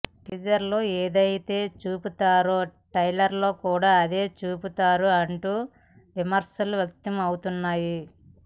టీజర్లో ఏదైతే చూపించారో ట్రైలర్లో కూడా అదే చూపించారు అంటూ విమర్శలు వ్యక్తం అవుతున్నాయి